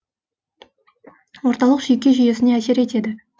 орталық жүйке жүйесіне әсер етеді